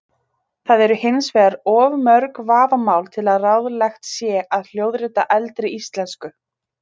Það eru hins vegar of mörg vafamál til að ráðlegt sé að hljóðrita eldri íslensku.